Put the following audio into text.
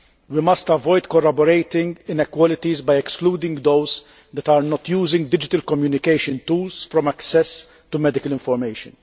we must avoid corroborating inequalities by excluding those who do not use digital communication tools from access to medical information.